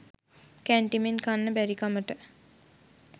කැන්ටිමෙන් කන්න බැරිකමට